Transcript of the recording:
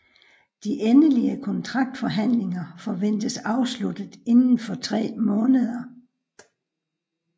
De endelige kontraktforhandlinger forventes afsluttet inden for tre måneder